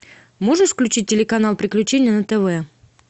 можешь включить телеканал приключения на тв